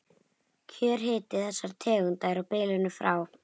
Kjörhiti þessara tegunda er á bilinu frá